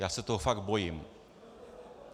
Já se toho fakt bojím.